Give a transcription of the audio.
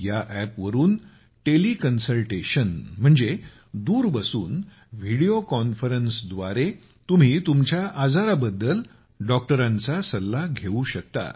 या अॅपवरून टेलिकन्सल्टेशन म्हणजे दूर बसून व्हिडिओ कॉन्फरन्सद्वारे तुम्ही तुमच्या आजाराबद्दल डॉक्टरांचा सल्ला घेऊ शकता